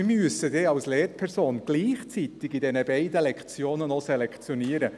Wir müssen als Lehrpersonen in diesen beiden Lektionen gleichzeitig noch selektionieren.